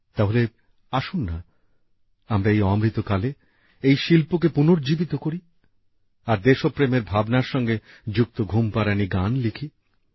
তাহলে আসুন না আমরা এই অমৃতকালে এই শিল্পকে পুনর্জীবিত করি আর দেশপ্রেমের ভাবনার সঙ্গে যুক্ত ঘুমপাড়ানি গান লিখি